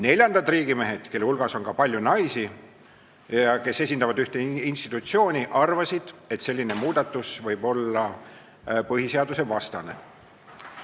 Neljandad riigimehed, kelle hulgas on ka palju naisi, kes esindavad ühte institutsiooni, arvasid, et selline muudatus võib olla põhiseadusvastane.